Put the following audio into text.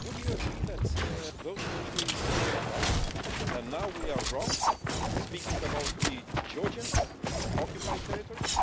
Would you agree that those countries were right and now we are wrong, speaking about the Georgian occupied territories?